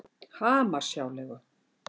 Hamarshjáleigu